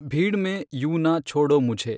ಭೀಡ್ ಮೆ ಯೂಂ ನ ಛೊಡೋ ಮುಝೆ